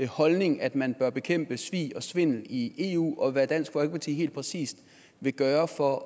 holdning at man bør bekæmpe svig og svindel i eu og hvad dansk folkeparti helt præcist vil gøre for